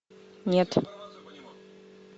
нет